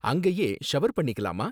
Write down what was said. அங்கயே ஷவர் பண்ணிக்கலாமா?